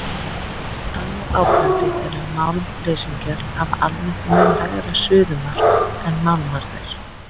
Annað áberandi er að málmleysingjarnir hafa almennt mun lægra suðumark en málmarnir.